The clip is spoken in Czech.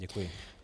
Děkuji.